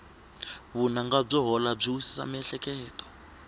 vunanga byo hola byi wisisa miehleketo